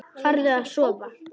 Farðu að sofa.